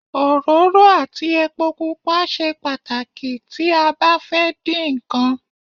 Òróró àti epo pupa ṣe pàtàkì tí a bá fẹ́ din nkan